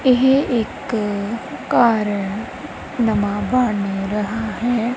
ਇਹ ਇੱਕ ਘਰ ਨਵਾਂ ਬਣ ਰਹਾ ਹੈ।